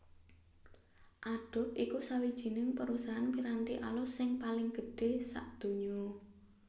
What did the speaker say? Adobe iku sawijining perusahaan piranti alus sing paling gedhr sadonya